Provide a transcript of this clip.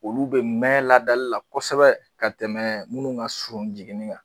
Olu bɛ mɛɛn ladali la kosɛbɛ ka tɛmɛ minnu ka surun jiginni na